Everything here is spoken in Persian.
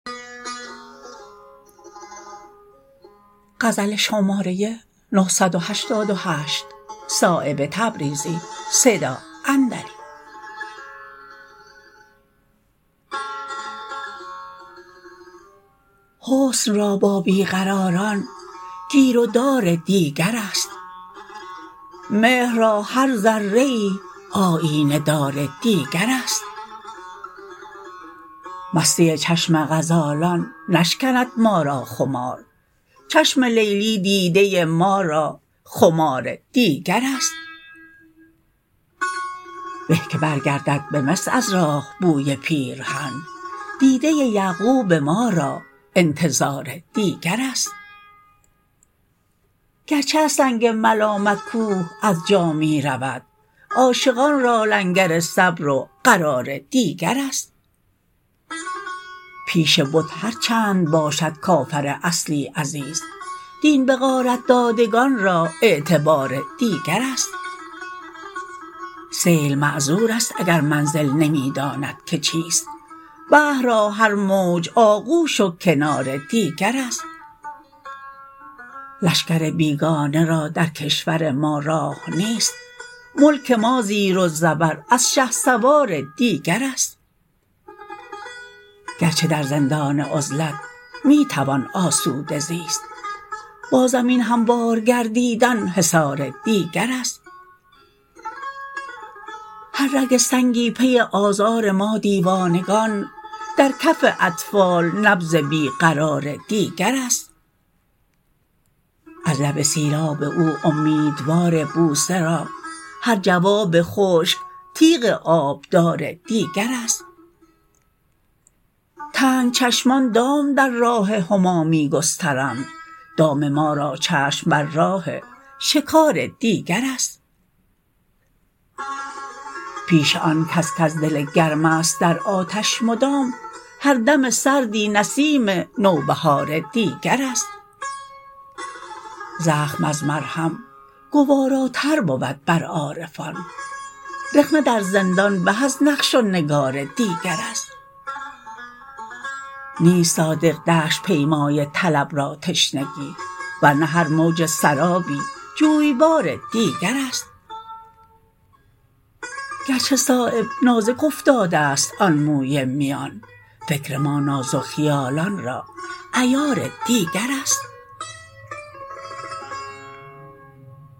حسن را با بی قراران گیر و دار دیگرست مهر را هر ذره ای آیینه دار دیگرست مستی چشم غزالان نشکند ما را خمار چشم لیلی دیده ما را خمار دیگرست به که برگردد به مصر از راه بوی پیرهن دیده یعقوب ما را انتظار دیگرست گرچه از سنگ ملامت کوه از جا می رود عاشقان را لنگر صبر و قرار دیگرست پیش بت هر چند باشد کافر اصلی عزیز دین به غارت دادگان را اعتبار دیگرست سیل معذورست اگر منزل نمی داند که چیست بحر را هر موج آغوش و کنار دیگرست لشکر بیگانه را در کشور ما راه نیست ملک ما زیر و زبر از شهسوار دیگرست گرچه در زندان عزلت می توان آسوده زیست با زمین هموار گردیدن حصار دیگرست هر رگ سنگی پی آزار ما دیوانگان در کف اطفال نبض بی قرار دیگرست از لب سیراب او امیدوار بوسه را هر جواب خشک تیغ آبدار دیگرست تنگ چشمان دام در راه هما می گسترند دام ما را چشم بر راه شکار دیگرست پیش آن کس کز دل گرم است در آتش مدام هر دم سردی نسیم نوبهار دیگرست زخم از مرهم گواراتر بود بر عارفان رخنه در زندان به از نقش و نگار دیگرست نیست صادق دشت پیمای طلب را تشنگی ورنه هر موج سرابی جویبار دیگرست گرچه صایب نازک افتاده است آن موی میان فکر ما نازک خیالان را عیار دیگرست